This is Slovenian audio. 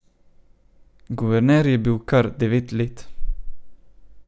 Guverner je bil kar devet let.